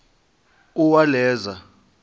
uwaleza